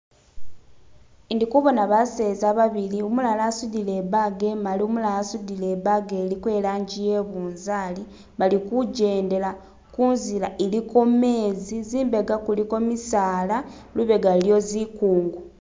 Indikubona baseza babili umulala asudile ibaga imali umulala asudile ibaga iliko ilangi ye bunzali balikujendela kunzila iliko mezi zimbaga kuliko misaala libega luliyo zikungu